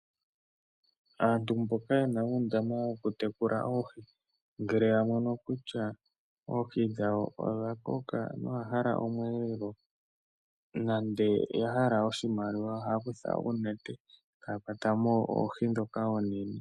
Aantu mboka yena uundama wawo wokutekula oohi, ngele ya mono kutya oohi dhawo odha koka, noya hala omweelelo nande oya hala oshimaliwa, ohaya kutha uunete. Taya kwatamo oohi dhoka oonene.